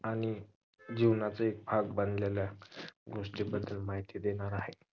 आणि जीवनातील भाग बनलेल्या गोस्टिंबद्दल माहिती देणार आहे